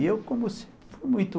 E eu, como se, fui muito...